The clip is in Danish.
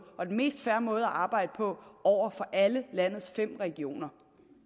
og den mest fair måde at arbejde på over for alle landets fem regioner